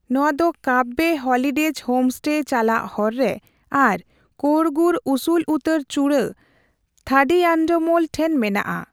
ᱱᱚᱣᱟ ᱫᱚ Kabbe holidays homestay ᱪᱟᱞᱟᱜ ᱦᱚᱨ ᱨᱮ ᱟᱨ ᱠᱳᱲᱜᱩᱨ ᱩᱥᱩᱞ ᱩᱛᱟᱹᱨ ᱪᱩᱲᱟᱹ ᱛᱷᱟᱰᱤᱭᱟᱱᱰᱟᱢᱳᱞ ᱴᱷᱮᱱ ᱢᱮᱱᱟᱜᱼᱟ ᱾